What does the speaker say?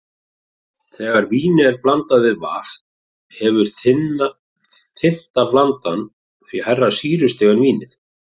Þegar víni er blandað við vatn hefur þynnta blandan því hærra sýrustig en vínið.